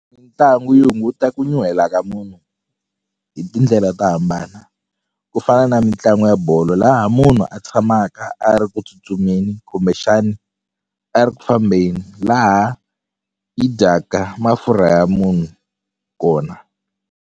Mitlangu yi hunguta ku nyuhela ka munhu hi tindlela to hambana ku fana na mitlangu ya bolo laha munhu a tshamaka a ri ku tsutsumeni kumbexani a ri ku fambeni laha yi dyaka mafurha ya munhu kona.